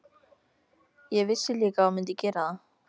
Ég vissi líka að þú mundir gera það.